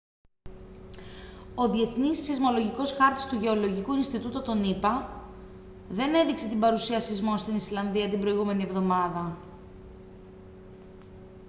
ο διεθνής σεισμολογικός χάρτης του γεωλογικού ινστιτούτου των ηπα δεν έδειξε την παρουσία σεισμών στην ισλανδία την προηγούμενη εβδομάδα